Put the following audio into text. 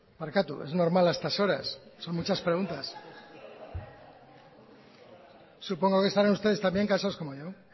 barkatu es normal a estas horas son muchas preguntas supongo que estarán ustedes también cansados como yo